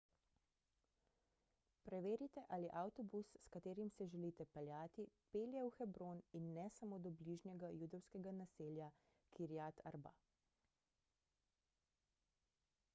preverite ali avtobus s katerim se želite peljati pelje v hebron in ne samo do bližnjega judovskega naselja kiryat arba